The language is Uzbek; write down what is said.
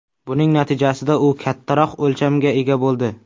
Buning natijasida u kattaroq o‘lchamga ega bo‘ldi.